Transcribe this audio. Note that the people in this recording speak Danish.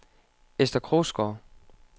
Ester Krogsgaard